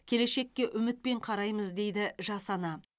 келешекке үмітпен қараймыз дейді жас ана